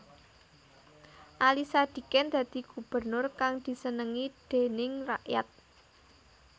Ali Sadikin dadi gubernur kang disenengi déning rakyat